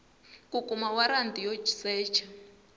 ku kuma waranti yo secha